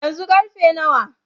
Yanzu karfe nawa?